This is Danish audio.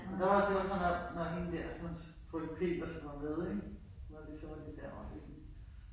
Og der var det var så nok når hende dersens frøken Petersen var med ik. Var det så var vi derovre ik